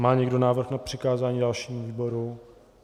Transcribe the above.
Má někdo návrh na přikázání dalšímu výboru?